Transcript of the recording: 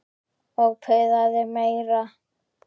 Og puðaði meira.